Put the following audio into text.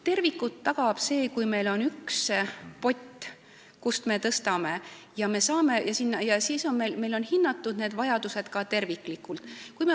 Terviku tagab see, kui meil on üks pott, kust me tõstame, ja meil on ka vajadused terviklikult hinnatud.